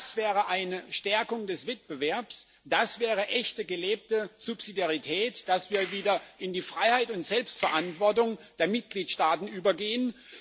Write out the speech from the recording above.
Das wäre eine Stärkung des Wettbewerbs, das wäre echte gelebte Subsidiarität, dass wir wieder zur Freiheit und Selbstverantwortung der Mitgliedstaaten übergehen.